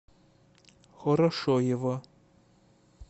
хорошоево